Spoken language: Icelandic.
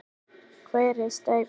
Hvar er steypan?